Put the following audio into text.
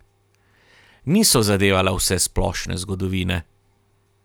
Niso zadevala vsesplošne zgodovine.